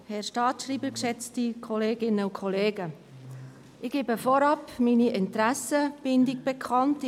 Ich gebe als Erstes meine Interessenbindung bekannt: